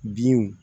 Binw